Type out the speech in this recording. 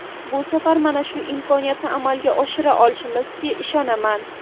Bu safar mana shu imkoniyatni amalga oshira olishimizga ishonaman.